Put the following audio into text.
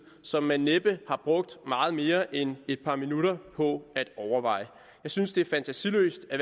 som man næppe har brugt meget mere end et par minutter på at overveje jeg synes det er fantasiløst at